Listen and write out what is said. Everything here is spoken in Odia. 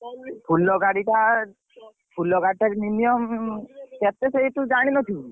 ଫୁଲ ଗାଡି ଟା ଫୁଲ ଗାଡି ଟା minimum କେତେ ସେଇ ତୁ ଜାଣିନଥିବୁ।